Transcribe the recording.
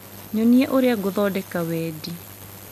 nyonie ũrĩa ngũthondeka wendi